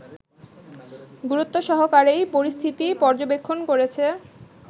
গুরুত্বসহকারেই পরিস্থিতি পর্যবেক্ষণ করছে